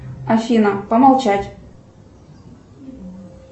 афина помолчать